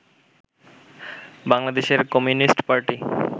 বাংলাদেশের communist party